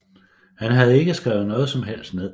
Han havde ikke skrevet noget som helst ned